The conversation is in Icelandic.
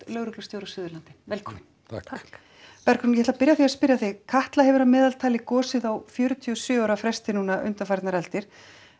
lögreglustjóri á Suðurlandi velkomin takk Bergrún ég ætla að byrja á því að spyrja þig Katla hefur að meðaltali gosið á fjörutíu og sjö ára fresti undanfarnar aldir